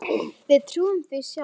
Við trúðum því sjálf.